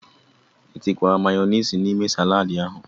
I tikwara mayọniisi n'ime saladi ahụ?